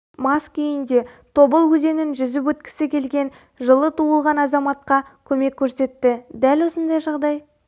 мас күйінде тобыл өзенін жүзіп өткісі келген жылы туылған азаматқа көмек көрсетті дәл осындай жағдай